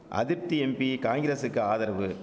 அதிப்தி MP காங்கிரசுக்கு ஆதரவு